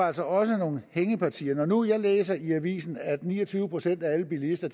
altså også nogle hængepartier når nu jeg læser i avisen at ni og tyve procent af alle bilister